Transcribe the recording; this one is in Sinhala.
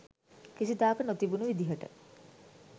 කිසිදාක නොතිබුණු විදිහට